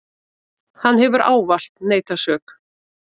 Hann hefur ávallt neitað sök.